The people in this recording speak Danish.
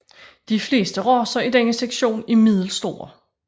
De fleste racer i denne sektion er middelstore